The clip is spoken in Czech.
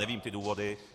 Neznám ty důvody.